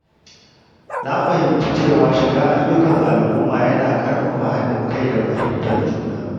Na fahimci cewa shiga ayyukan al’umma yana ƙarfafa haɗin kai da fahimtar juna.